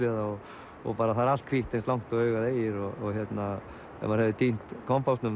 og það er allt hvítt eins langt og augað eygir og ef maður hefði týnt